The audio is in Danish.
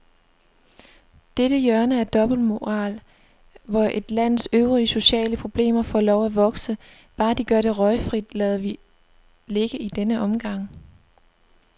Dette hjørne af dobbeltmoral, hvor et lands øvrige sociale problemer får lov at vokse, bare de gør det røgfrit, lader vi ligge i denne omgang.